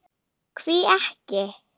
Hví ekki.